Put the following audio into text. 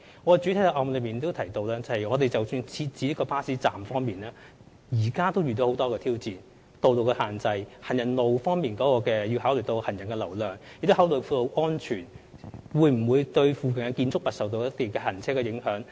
我在主體答覆已有提到，即使是設置巴士站，我們現時也面對很多挑戰，包括道路的限制、需要考慮行人路的人流，還有道路安全，以及會否對進出鄰近建築物的車輛造成影響等。